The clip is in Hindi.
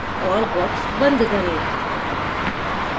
और box बंद करें